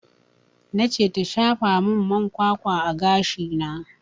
Na ce ta shafa min man kwakwa a gashi na